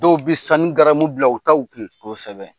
Dɔw bɛ sanu garamu bila u taw kun, kosɛbɛ.